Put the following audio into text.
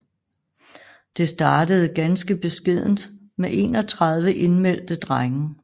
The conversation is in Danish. Det startede ganske beskedent med 31 indmeldte drenge